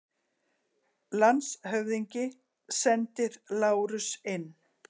LANDSHÖFÐINGI: Sendið Lárus inn!